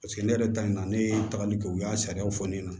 Paseke ne yɛrɛ ta in na ne ye tagali kɛ u y'a sariyaw fɔ ne ɲɛna